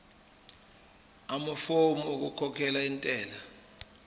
amafomu okukhokhela intela